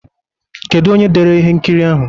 Kedu onye dere ihe nkiri ahụ?